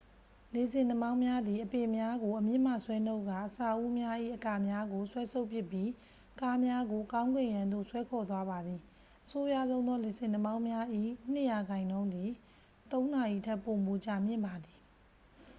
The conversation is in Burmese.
လေဆင်နှာမောင်းများသည် အပင်များကို အမြစ်မှဆွဲနှုတ်ကာ အဆောက်အဦများ၏ အကာများကို ဆွဲဆုတ်ပစ်ပြီး ကားများကို ကောင်းကင်ယံသို့ ဆွဲခေါ်သွားပါသည် အဆိုးရွားဆုံးသောလေဆင်နှာမောင်းများ၏ နှစ်ရာခိုင်နှုန်းသည် သုံးနာရီထက်ပိုမိုကြာမြင့်ပါသည်